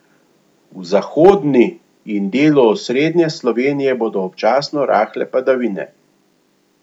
V zahodni in delu osrednje Slovenije bodo občasno rahle padavine.